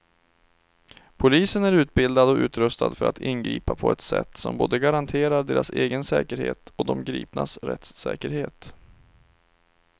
Polisen är utbildad och utrustad för att ingripa på ett sätt som både garanterar deras egen säkerhet och de gripnas rättssäkerhet.